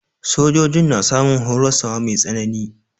Sojojin na samun horaswa mai tsanani.